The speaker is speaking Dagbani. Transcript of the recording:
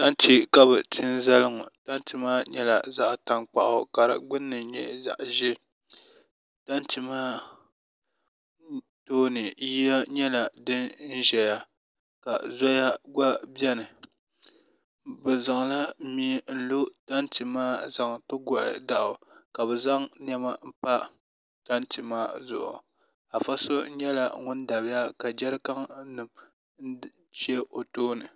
tante ka bɛ ti n-zali ŋɔ tante maa nyɛla zaɣ' taŋkpaɣu ka di gbunni nyɛ zaɣ' ʒee tante maa tooni yiya nyɛla din n-ʒaya ka zoya gba beni bɛ zaŋla mia n-zaŋ ti lo tante maa zaŋ ti gɔhi dɔɣu ka bɛ zaŋ nɛma m-pa tante maa zuɣu afa so nyɛla ŋuni dabiya ka jarikaninima ʒe o tooni